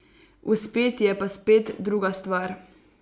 Uspeti je pa spet druga stvar.